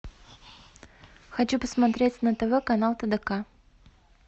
хочу посмотреть на тв канал тдк